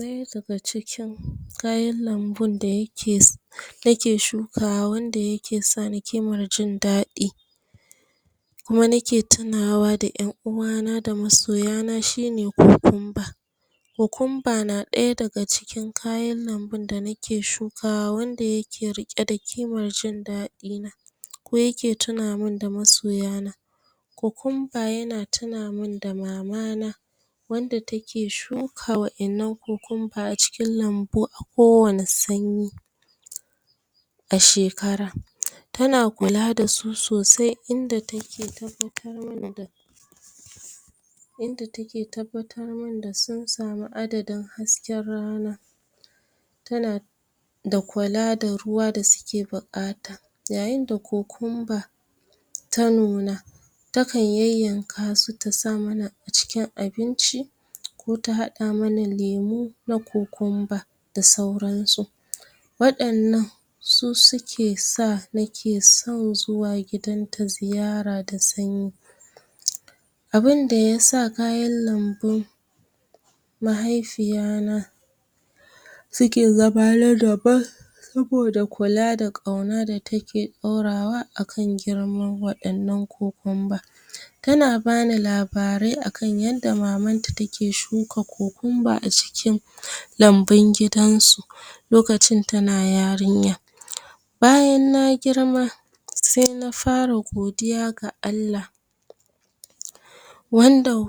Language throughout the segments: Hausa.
Ɗaya daga cikin kayan lambun da yake na ke shukawa, wanda yake sa ni kimar jin daɗi, kuma nake tunawa da ƴan uwa na da masoya na, shine kokumba. Kokumba na ɗaya daga cikin kayan lambun da nake shukawa, wanda yake riƙe da kimar jin daɗi na, ko yake tuna mun da masoya na. Kokumba yana tuna mun da mamana, wanda take shuka wa'innan kokumba a cikin lambu, a ko wani sanyi a shekara. Tana kula dasu sosai, inda take tabbatar mana da inda take tabbatar mun da sun sami adadin hasken rana, tana da kula da ruwa da suke buƙata. Yayin da kokumba ta nuna, ta kan yayyanka su ta sa mana a cikin abinci, ko ta haɗa mana lemu na kokumba, da sauran su. Waɗan nan su suke sa nake son zuwa gidan ta ziyara da sanyi. Abunda ya sa kayan lambun mahaifiya na su ke zama na daban, saboda kula da ƙauna da take ɗaurawa, a kan girman waɗan nan kokumba. Tana bani labarai a kan yadda mamanta take shuka kokumba, a cikin lambun gidan su, lokacin tana yarinya. Bayan na girma, sai na fara godiya ga Allah, wanda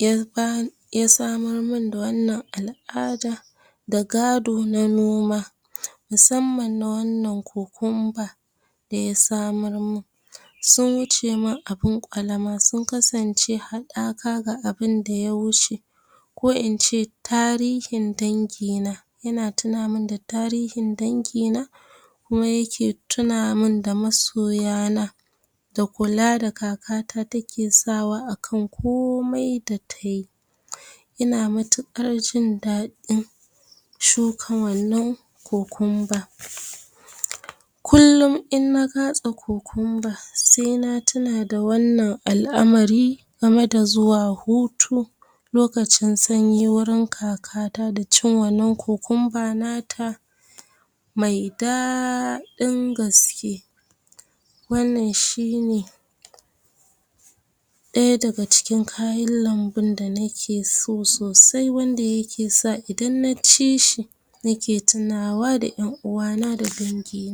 ya samar mun da wannan al'ada, da gado na noma, musamman na wannan kokumba da ya samar mun. Sun wuce mun abin ƙwalama, sun kasance haɗaka ga abinda ya wuce, ko in ce tarihin dangina, yana tuna mun da tarihin dangina, kuma yake tuna mun da masoya na. da kula da kakata take sawa a kan komai da tayi, ina matuƙar jin daɗin shuka wannan kokum ba. Kullum in na katse kokumba sai na tuna da wannan al'amari, game da zuwa hutu lokacin sanyi wurin kakata, da cin wannan kokumba nata mai daːɗin gaske. Wannan shine ɗaya daga cikin kayan lambun da nake so sosai, wanda yake sa idan naci shi nake tunawa da ƴan uwa na, da dangi na.